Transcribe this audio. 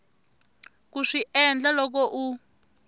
ku swi endla loko u